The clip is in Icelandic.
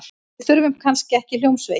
Við þurfum kannski ekki hljómsveit.